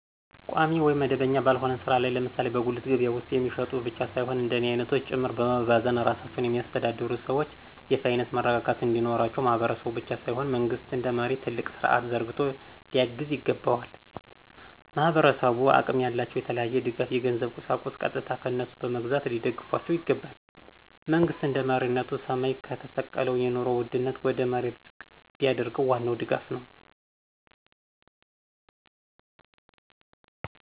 ቋሚ ወይም መደበኛ ባልሆነ ሥራ ላይ ለምሳሌ በጉልት ገበያ ውስጥ የሚሸጡ ብቻ ሳይሆን እንደኔ አይነቶች ጭምር በመባዘን ራሳቸውን የሚያስተዳድሩ ሰዎች የፋይናንስ መረረጋጋት እንዲኖራቸው ማህበረሰቡ ብቻ ሳይሆን መንግስት እንደመሪ ትልቅ ስርዐት ዘርግቶ ሊያግዝ ይገባዋል። ማህበረሰቡ አቅም ያላቸው የተለያየ ድጋፍ የገንዘብ የቁሳቁስ ቀጥታ ከነሱ በመግዛት ሊደግፏቸው ይገባል። መንግሥት እንደመሪነቱ ሰማይ የተሰቀለውን የኑሮ ውድነት ወደ መሬት ዝቅ ቢያደርገው ዋናው ድጋፍ ነው።